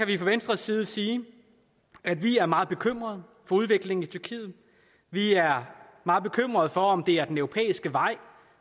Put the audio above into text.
vi fra venstres side sige at vi er meget bekymret for udviklingen i tyrkiet vi er meget bekymret for om det er den europæiske vej